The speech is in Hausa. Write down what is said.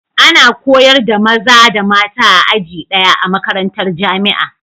Ana koyar da maza da mata a aji daya,a makarantar jamia